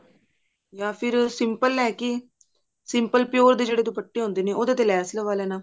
ਜਾਂ ਫਿਰ simple ਲੈਕੇ simple pure ਦੇ ਜਿਹੜੇ ਦੁਪੱਟੇ ਹੁੰਦੇ ਨੇ ਉਹਦੇ ਤੇ ਲੈਸ ਲਵਾ ਲੈਣਾ